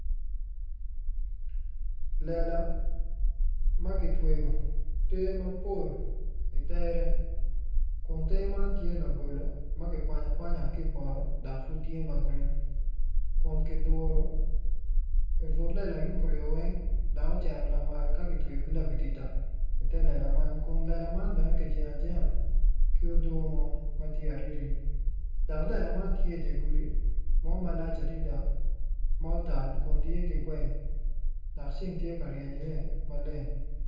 Lela ma ki kitweyo ter mapol itere kun ter man tye labolo ma kikwanya kawanya ki poto dak pud tye ma gurin kun kiduru i but lela yung kuryo weny dok ocero lamal ka ki tweyo ki labatita i te lela man kun lela man bene ki jengo ajenga ki odo mo ma ti ariri dak lela man tye i dye gudi mo malac adida ma otal kun tye ki geng dak ceng tye ka bryeny iye maleng